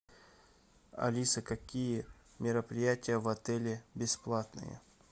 алиса какие мероприятия в отеле бесплатные